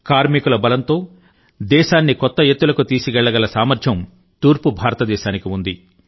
కార్మికుల బలంతో దేశాన్ని కొత్త ఎత్తులకు తీసుకెళ్లగల సామర్థ్యం తూర్పు భారత దేశానికి ఉంది